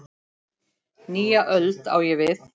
Nýja öld, á ég við.